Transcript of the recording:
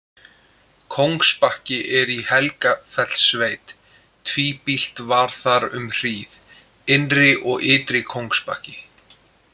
Kóngsbakki er í Helgafellssveit, tvíbýlt var þar um hríð: Innri- og Ytri-Kóngsbakki.